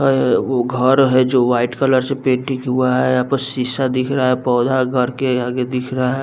आए हाए वो घर है जो वाइट कलर से पेंटिंग हुआ है यहाँ पर शीशा दिख रहा है पौधा घर के आगे दिख रहा --